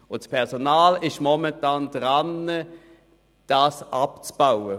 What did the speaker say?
Das Personal ist momentan daran, die Überzeit abzubauen.